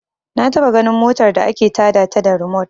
Na taɓa ganin motar da ake ta da ta da rimot